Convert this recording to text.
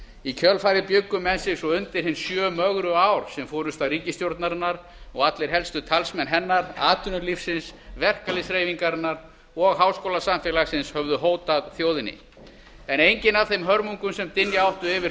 í kjölfarið bjuggu menn sig svo undir hin sjö mögru ár sem forusta ríkisstjórnarinnar og allir helstu talsmenn hennar atvinnulífsins verkalýðshreyfingarinnar og háskólasamfélagsins höfðu hótað þjóðinni en engin af þeim hörmungum sem dynja áttu yfir þjóðina